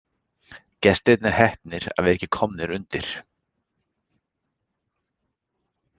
Gestirnir heppnir að vera ekki komnir undir.